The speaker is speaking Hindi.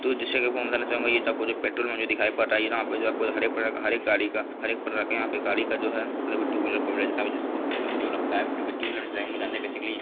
दोस्तों इन्फॉर्म करना चाऊंगा ये जो पेट्रोल मैं भी दिखाई पड़ रहा है वहा पे हर प्रकार है यहाँ गाड़ी पे जो है